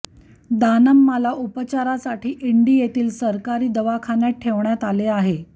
दानम्माला उपचारासाठी इंडी येथील सरकारी दवाखान्यात उपचारासाठी ठेवण्यात आले आहे